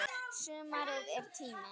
Sumarið er tíminn.